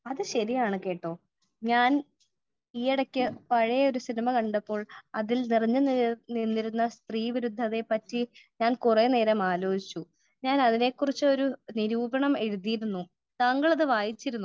Speaker 1 അത് ശരിയാണ് കേട്ടൊ . ഞാൻ ഈയിടയ്ക്ക് പഴയ ഒരു സിനിമ കണ്ടപ്പോൾ അതിൽ നിറഞ്ഞു നിന്നിരുന്ന സ്ത്രീവിരുദ്ധതയെ പറ്റി ഞാൻ കുറെ നേരം ആലോചിച്ചു. ഞാൻ അതിനെ കുറിച്ച് ഒരു നിരൂപണം എഴുതിയിരുന്നു . താങ്കൾ അത് വായിച്ചിരുന്നോ ?